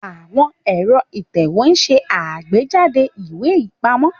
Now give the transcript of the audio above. Àwọn ẹ̀rọ ìtẹ̀wé ń ṣe àgbéjáde ìwé ìpamọ́.